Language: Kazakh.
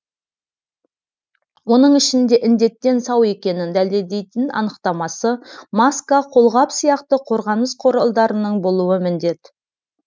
оның ішінде індеттен сау екенін дәлелдейтін анықтамасы маска қолғап сияқты қорғаныс құралдарының болуы міндет